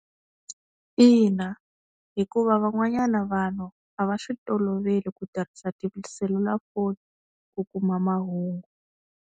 Ina hikuva van'wanyana vanhu a va swi toloveli ku tirhisa tiselulafoni ku kuma mahungu.